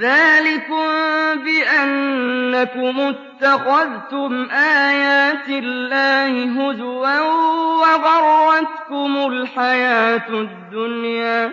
ذَٰلِكُم بِأَنَّكُمُ اتَّخَذْتُمْ آيَاتِ اللَّهِ هُزُوًا وَغَرَّتْكُمُ الْحَيَاةُ الدُّنْيَا ۚ